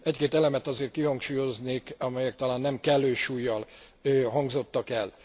Egy két elemet azért kihangsúlyoznék, amelyek talán nem kellő súllyal hangzottak el.